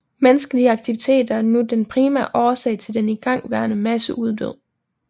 Menneskelige aktiviteter er nu den primære årsag til den igangværende masseuddød